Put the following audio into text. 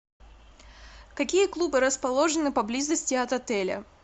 какие клубы расположены поблизости от отеля